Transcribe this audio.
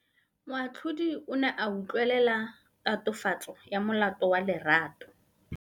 Moatlhodi o ne a utlwelela tatofatsô ya molato wa Lerato.